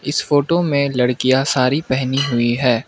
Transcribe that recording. इस फोटो मे लड़कियां सारी पहनी हुई है।